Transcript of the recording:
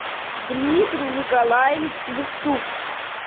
дмитрий николаевич левчук